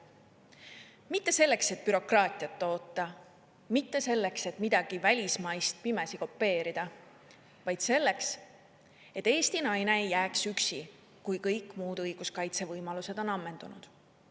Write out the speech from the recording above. Mitte selleks, et bürokraatiat toota, mitte selleks, et midagi välismaist pimesi kopeerida, vaid selleks, et Eesti naine ei jääks üksi, kui kõik muud õiguskaitse võimalused on ammendunud.